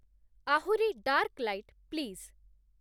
ଆହୁରି dark light, please